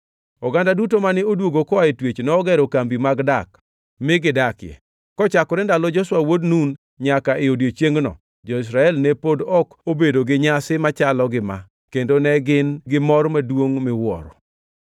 Oganda duto mane odwogo koa e twech nogero kambi mag dak mi gidakie. Kochakore ndalo Joshua wuod Nun nyaka e odiechiengno, jo-Israel ne pod ok obedo gi nyasi machalo gi ma; kendo ne gin gi mor maduongʼ miwuoro.